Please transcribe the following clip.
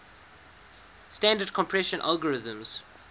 standard compression algorithms